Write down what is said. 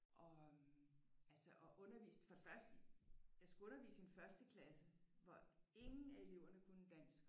Og øh altså at undervise for det første jeg skulle undervise i en første klasse hvor ingen af eleverne kunne dansk